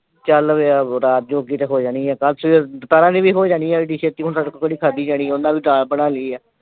ਚੱਲ ਬਈ ਹੁਣ ਰਾਤ ਜੋਗੀ ਤਾਂ ਹੋ ਜਾਣੀ ਆ। ਕੱਲ ਸਵੇਰ, ਦੁਪਹਿਰਾਂ ਦੀ ਵੀ ਹੋ ਜਾਣੀ ਆ ਐਡੀ ਛੇਤੀ ਹੁਣ ਸਾਡੇ ਤੋਂ ਕਿਹੜੀ ਖਾਧੀ ਜਾਣੀ ਆ। ਉਨ੍ਹਾਂ ਦੀ ਵੀ ਨਾਲ ਬਣਾ ਲਈ ਆ।